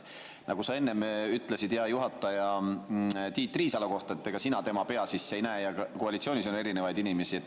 Nagu sa enne ütlesid, hea juhataja, Tiit Riisalo kohta, et sina tema pea sisse ei näe ja koalitsioonis on erinevaid inimesi.